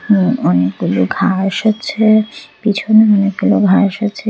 হু অনেকগুলো ঘাস আছে পিছনে অনেকগুলো ঘাস আছে।